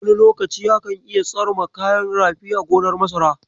Wani lokaci akan iya tsarma kayan rafi a gonar masara.